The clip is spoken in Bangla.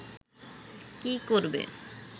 কী করবে